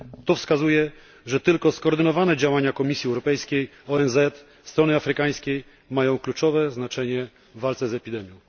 To wskazuje, że tylko skoordynowane działania Komisji Europejskiej, ONZ i strony afrykańskiej mają kluczowe znaczenie w walce z epidemią.